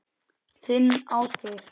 Þinn Ásgeir.